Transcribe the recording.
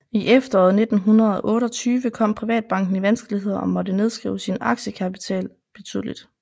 I efteråret 1928 kom Privatbanken i vanskeligheder og måtte nedskrive sin aktiekapital betydeligt